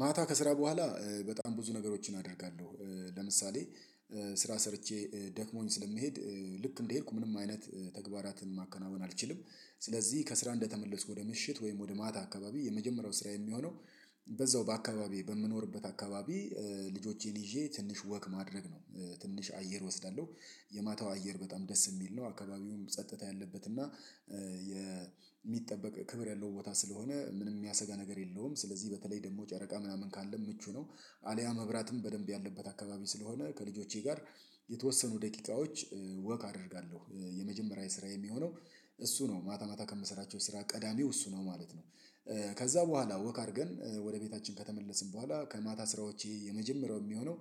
ማታ ከስራ በኋላ በጣም ብዙ ነገሮችን አደርጋለሁ ለምሳሌ ስራ ሰርቼ ደክሞኝ ስለሚሄድ ልክ እንደሄድኩ ምንም አይነት ተግባራትን ማከናወን አልችልም። ስለዚህ ከስራ እንደተመለስኩ ወደ ምሽት ወይም ወደ ማታ አካባቢ የመጀመሪያው ስራ የሚሆነው በዛው በአካባቢው በምኖርበት አካባቢ ልጆቼን ይዤ ትንሽ ወክ ማድረግ ነው ትንሽ አየር እወስዳለሁ የማታው አየር በጣም ደስ የሚል ነው አካባቢውም ጸጥታ ያለበት እና የሚጠበቅ ክብር ያለው ቦታ ስለሆነ ምንም የሚያሰጋ ነገር የለውም ስለዚህ በተለይ ደግሞ ጨረቃ ምናምን ካለ ምቹ ነው። አልያ መብራትም በደንብ ያለበት አካባቢ ስለሆነ ከልጆቼ ጋር የተወሰኑ ደቂቃዎች ወክ አደርጋለሁ የመጀመሪያ ስራ የሚሆነው እሱ ነው ማታ ማታ ከምሰራቸው ስራ ቀዳሚው እሱ ነው ማለት ነው። ከዛ በኋላ ወክ አድርገን ወደ ቤታችን ከተመለስን በኋላ ከማታ ስራዎቼ የመጀመሪያው የሚሆነው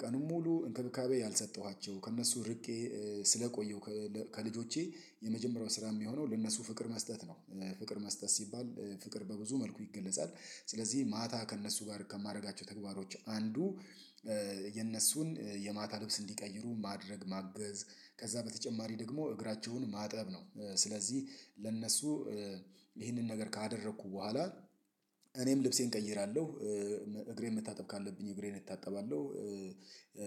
ቀኑን ሙሉ እንክብካቤ ያልሰጠኋቸው ከእነሱ ርቄ ስለቆየው ከልጆቼ የመጀመሪያው ስራ የሚሆነው ለእነሱ ፍቅር መስጠት ነው። ፍቅር መስጠት ሲባል ፍቅር በብዙ መልኩ ይገለጻል ስለዚህ ማታ ከእነሱ ጋር ከማድረጋቸው ተግባሮች አንዱ የእነሱን የማታ ልብስ እንዲቀይሩ ማድረግ ማገዝ ከዛ በተጨማሪ ደግሞ እግራቸውን ማጠብ ነው። ስለዚህ ለእነሱ ይህንን ነገር ካደረኩ በኋላ እኔም ልብሴን እቀይራለሁ እግሬን መታጠብ ካለብኝ እግሬን እታጠባለሁ።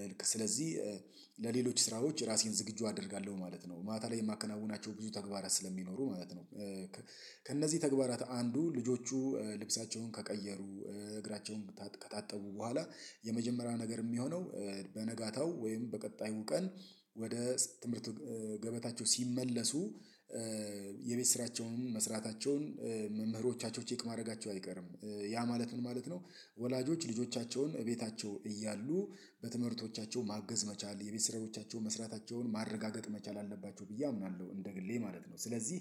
ልክ ስለዚህ ለሌሎች ስራዎች ራሴን ዝግጁ አደርጋለሁ ማለት ነው ማታ ላይ የማከናውናቸው ብዙ ተግባራት ስለሚኖሩ ማለት ነው። ከእነዚህ ተግባራት አንዱ ልጆቹ ልብሳቸውን ከቀየሩ እግራቸውን ከታጠቡ በኋላ የመጀመሪያ ነገር የሚሆነው በነጋታው ወይም በቀጣዩ ቀን ወደ ትምህርት ገበታቸው ሲመለሱ የቤት ስራቸውንም መስራታቸውን መምህሮቻቸው ቼክ ማድረጋቸው አይቀርም ያ ማለት ምን ማለት ነው? ወላጆች ልጆቻቸውን እቤታቸው እያሉ በትምህርቶቻቸው ማገዝ መቻል የቤት ስራዎቻቸው መስራታቸውን ማረጋገጥ መቻል አለባቸው ብዬ አምናለሁ እንደ ግሌ ማለት ነው። ስለዚህ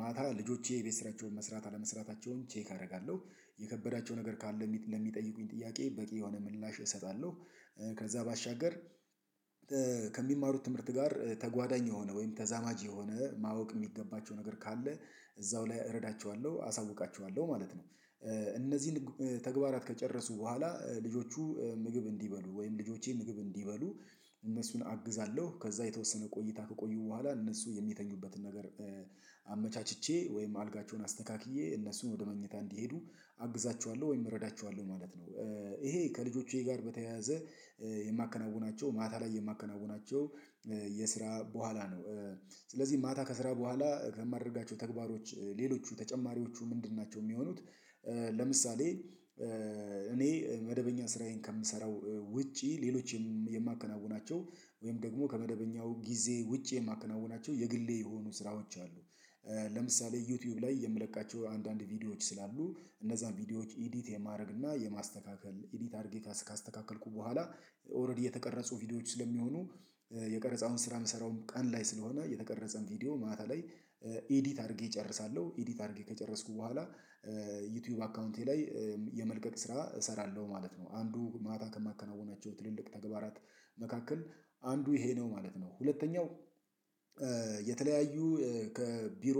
ማታ ልጆቼ የቤት ስራቸውን መስራት አለመስራታቸውን ቼክ አደርጋለሁ የከበዳቸው ነገር ካለ ለሚጠይቁኝ ጥያቄ በቂ የሆነ ምላሽ እሰጣለሁ። ከዛ ባሻገር ከሚማሩት ትምህርት ጋር ተጓዳኝ የሆነ ወይም ተዛማጅ የሆነ ማወቅ የሚገባቸው ነገር ካለ እዛው ላይ እረዳቸዋለሁ አሳውቃቸዋለሁ ማለት ነው። እነዚህን ተግባራት ከጨረሱ በኋላ ልጆቹ ምግብ እንዲበሉ ወይም ልጆቼ ምግብ እንዲበሉ እነሱን አግዛለሁ ከዛ የተወሰነ ቆይታ ከቆዩ በኋላ እነሱ የሚተኙበትን ነገር አመቻችቼ ወይም አልጋቸውን አስተካክዬ እነሱን ወደ መኝታ እንዲሄዱ አግዛችኋለሁ ወይም እረዳችኋለሁ ማለት ነው። ይሄ ከልጆቼ ጋር በተያያዘ የማከናውናቸው ማታ ላይ የማከናውናቸው የስራ በኋላ ነው። ስለዚህ ማታ ከስራ በኋላ ከማደርጋቸው ተግባሮች ሌሎች ተጨማሪዎቹ ምንድን ናቸው የሚሆኑት? ለምሳሌ እኔ መደበኛ ስራዬን ከምሰራው ውጪ ሌሎችም የማከናውናቸው ወይም ደግሞ ከመደበኛው ጊዜ ውጪ የማከናውናቸው የግሌ የሆኑ ስራዎች አሉ። ለምሳሌ ዩቲዩብ ላይ የምለቃቸው አንዳንድ ቪዲዮዎች ስላሉ እነዛን ቪዲዮዎች ኢዲት የማድረግ እና የማስተካከል ኢዲት አድርጌ ካስተካከልኩ በኋላ ኦሬዲ የተቀረጹ ቪዲዮዎች ስለሚሆኑ የቀረጻውን ስራ የምሰራውም ቀን ላይ ስለሆነ የተቀረጸን ቪዲዮ ማታ ላይ ኤዲት አድርጌ እጨርሳለሁ ኤዲት አድርጌ ከጨረስኩ በኋላ ዩቲዩብ አካውንቴ ላይ የመልቀቅ ስራ እሰራለሁ ማለት ነው። አንዱ ማታ ከማከናወናቸው ትልልቅ ተግባራት መካከል አንዱ ይሄ ነው ማለት ነው። ሁለተኛው የተለያዩ ከቢሮ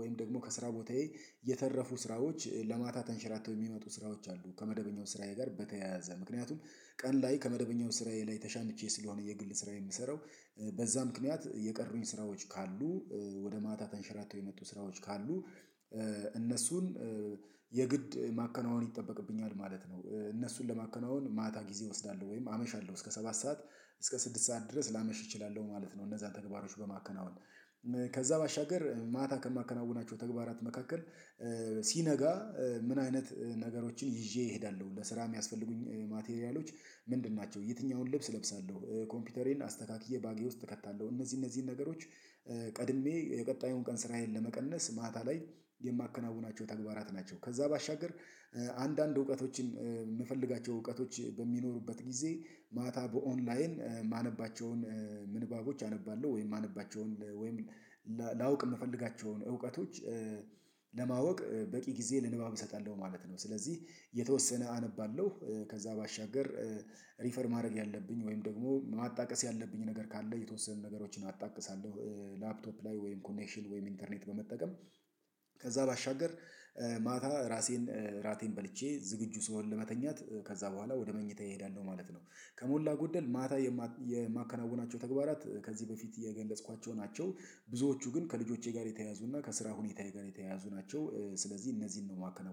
ወይም ደግሞ ከስራ ቦታዬ የተረፉ ስራዎች ለማታ ተንሸራተው የሚመጡ ስራዎች አሉ ከመደበኛው ስራዬ ጋር በተያያዘ ምክንያቱም ቀን ላይ ከመደበኛው ስራዬ ላይ ተሻምቼ ስለሆነ የግል ስራ የምሰራው በዛ ምክንያት የቀሩኝ ስራዎች ካሉ ወደ ማታ ተንሸራተው የመጡ ስራዎች ካሉ እነሱን የግድ ማከናወን ይጠበቅብኛል ማለት ነው። እነሱን ለማከናወን ማታ ጊዜ እወስዳለሁ ወይም አመሻለሁ እስከ ሰባት ሰዓት እስከ ስድስት ሰዓት ድረስ ላመሽ እችላለሁ ማለት ነው። እነዛን ተግባሮች በማከናወን ከዛ ባሻገር ማታ ከማከናውናቸው ተግባራት መካከል ሲነጋ ምን አይነት ነገሮችን ይዤ እሄዳለሁ ለስራ የሚያስፈልጉኝ ማቴሪያሎች ምንድን ናቸው? የትኛውን ልብስ እለብሳለሁ ኮምፒውተሬን አስተካክዬ ባጌ ውስጥ እከታለሁ እነዚህ እነዚህን ነገሮች ቀድሜ የቀጣዩን ቀን ስራዬን ለመቀነስ ማታ ላይ የማከናውናቸው ተግባራት ናቸው። ከዛ ባሻገር አንዳንድ እውቀቶችን የምፈልጋቸው እውቀቶች በሚኖሩበት ጊዜ ማታ በኦንላይን ማነባቸውን ምንባቦች አነባለሁ ወይም ማነባቸውን ወይም ላውቅ የምፈልጋቸውን እውቀቶች ለማወቅ በቂ ጊዜ ለንባብ እሰጣለሁ ማለት ነው። ስለዚህ የተወሰነ አነባለሁ ከዛ ባሻገር ሪፈር ማድረግ ያለብኝ ወይም ደግሞ ማጣቀስ ያለብኝ ነገር ካለ የተወሰኑ ነገሮችን አጣቅሳለሁ። ላፕቶፕ ላይ ወይም ኮኔክሽን ወይም ኢንተርኔት በመጠቀም ከዛ ባሻገር ማታ ራሴን ራቴን በልቼ ዝግጁ ስንሆን ለመተኛት ከዛ በኋላ ወደ መኝታዬ ይሄዳል ነው ማለት ነው። ከሞላ ጎደል ማታ የማከናውናቸው ተግባራት ከዚህ በፊት የገለጽኳቸው ናቸው። ብዙዎቹ ግን ከልጆቼ ጋር የተያያዙና ከስራ ሁኔታዬ ጋር የተያያዙ ናቸው። ስለዚህ እነዚህን ነው የማከናውነው